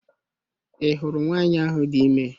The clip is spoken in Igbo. I hụrụ nwanyị ahụ dị ime